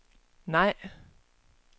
nej